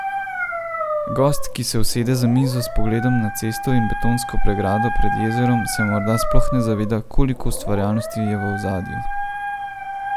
Gost, ki se usede za mizo s pogledom na cesto in betonsko pregrado pred jezerom, se morda sploh ne zaveda, koliko ustvarjalnosti je v ozadju.